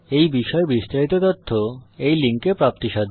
এই বিষয়ে বিস্তারিত তথ্য এই লিঙ্কে প্রাপ্তিসাধ্য